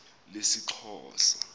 lesixhosa